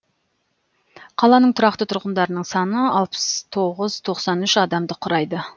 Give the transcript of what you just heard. қаланың тұрақты тұрғындарының саны алпыс тоғыз тоқсан үш адамды құрайды